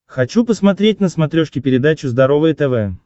хочу посмотреть на смотрешке передачу здоровое тв